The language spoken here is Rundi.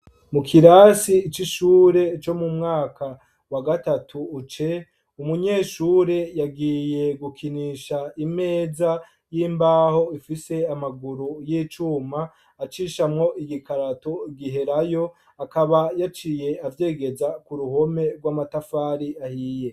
Mu kirasi c'ishure co mumwaka wagatatu C, umunyeshure yagiye gukinisha Imeza yimbaho amaguru yivyuma acishamwo ikarato giherayo akaba yaciye ayegeza kuruhome rwamatafari ahiye.